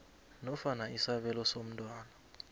nofana isabelo somntwana